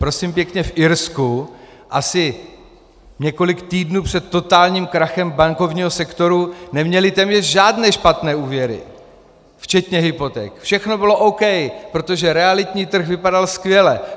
Prosím pěkně, v Irsku asi několik týdnů před totálním krachem bankovního sektoru neměli téměř žádné špatné úvěry včetně hypoték, všechno bylo OK, protože realitní trh vypadal skvěle.